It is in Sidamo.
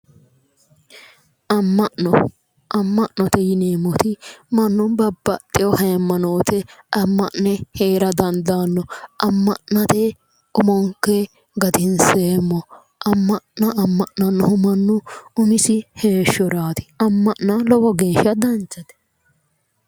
amma'no amma'note yineemmoti mannu babbaxewo haymanote amma'ne heera dandaanno amm'nate umonke gatinseemmo amma'no amma'nannohu mannu umisi heeshshoraati amma'no lowo geeshsha danchate.